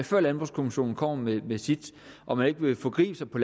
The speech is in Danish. og landbrugskommissionen kommer med med sit og man ikke vil forgribe sig på